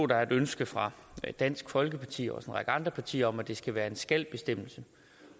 der er et ønske fra dansk folkeparti og også række andre partier om at det skal være en skal bestemmelse